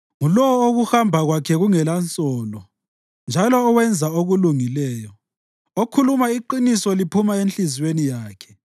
Ngulowo okuhamba kwakhe kungelansolo njalo owenza okulungileyo, okhuluma iqiniso liphuma enhliziyweni yakhe,